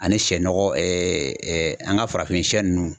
Ani sɛ nɔgɔ an ka farafin sɛ ninnu